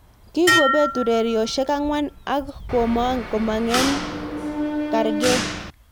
Kikobet urerioshek angwan ak komong eng kargei.